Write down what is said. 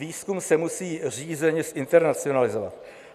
Výzkum se musí řízeně zinternacionalizovat.